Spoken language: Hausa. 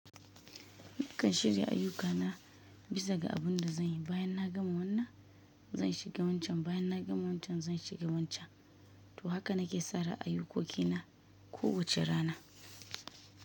Nikan shirya ayyuka na bisa ga abin da zan yi bayan na gama wannan, zan shiga wancan bayan na gama wancan, zan shiga wancan. To haka nake tsara ayyukoki na ko wace rana.